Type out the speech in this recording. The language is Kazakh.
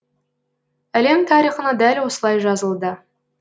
әлем тарихына дәл осылай жазылды